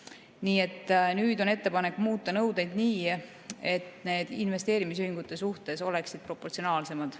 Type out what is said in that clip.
Nii et nüüd on ettepanek muuta nõudeid nii, et need oleksid investeerimisühingute suhtes proportsionaalsemad.